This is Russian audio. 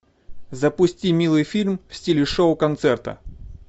запусти милый фильм в стиле шоу концерта